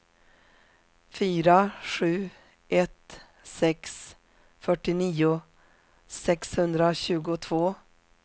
fyra sju ett sex fyrtionio sexhundratjugotvå